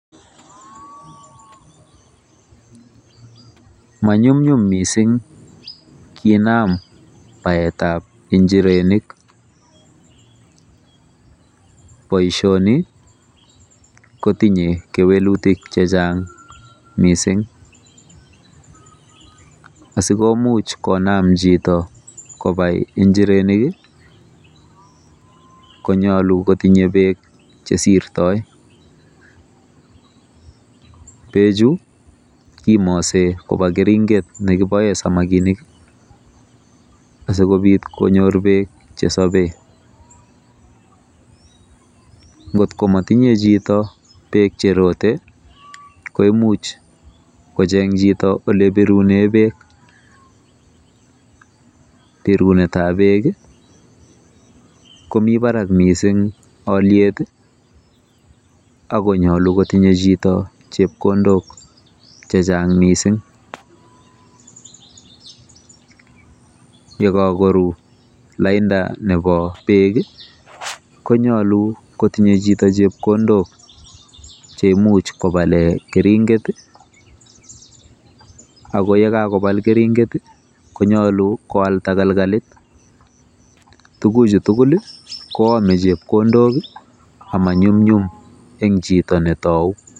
Manyumnyum mising kinam baetab injirenik. Boisioni kotinye kewelutik chechang mising. Asikomuch konam kobai jito njirek konyulu kotinye bek chesirtoi. Bechu kimasi boba keringet nikiboe samakinik asikobit konyor bek chesabee. Ngotkomotinye chito bek cherotei koimuch kocheng chito olebirunee bek. Birunetabek komi barak mising oliet akonyolu kotinye chito chepkondok chechang mising. Yekakoru lainda nebo bek konyolu kotinye chito chepkondok che imuch kopale keringet ako yekakopal keringet konyolu koal takalkalit. Tuguchu tugul koome chepkondok amanyumnyum eng chito netou.